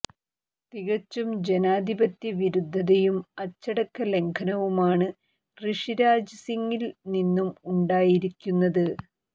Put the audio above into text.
തികച്ചും ജനാധിപത്യ വിരുദ്ധതയും അച്ചടക്ക ലംഘനവുമാണ് ഋഷിരാജ് സിങ്ങിൽ നിന്നും ഉണ്ടായിരിക്കുന്നത്